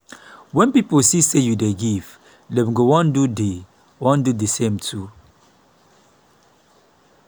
wen pipo see say yu dey give dem go wan do the wan do the same too.